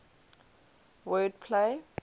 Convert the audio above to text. word play